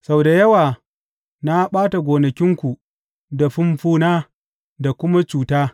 Sau da yawa na ɓata gonakinku da fumfuna da kuma cuta.